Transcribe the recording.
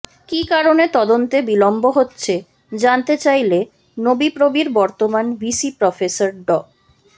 কী কারণে তদন্তে বিলন্ব হচ্ছে জানতে চাইলে নোবিপ্রবির বর্তমান ভিসি প্রফেসর ড